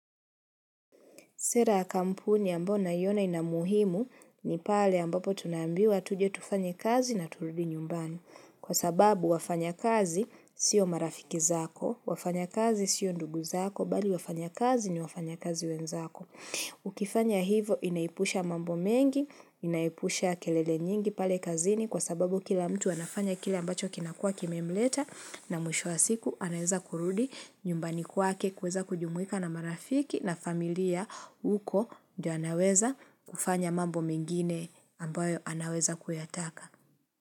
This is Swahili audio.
Sera ya kampuni ambayo ninaiona inamuhimu ni pale ambapo tunambiwa tuje tufanya kazi na turudi nyumbani. Kwa sababu wafanya kazi siyo marafiki zako, wafanya kazi siyo ndugu zako, mbali wafanya kazi ni wafanya kazi wenzako. Ukifanya hivyo inaipusha mambo mengi, inaipusha kelele nyingi pale kazini kwa sababu kila mtu anafanya kile ambacho kinakuwa kimemleta na mwisho wa siku anaweza kurudi nyumbani kwake kuweza kujumuwika na marafiki na familia uko ndio anaweza kufanya mambo mengine ambayo anaweza kuyataka.